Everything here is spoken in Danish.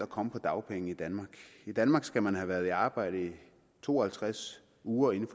komme på dagpenge i danmark skal man have været i arbejde i to og halvtreds uger inden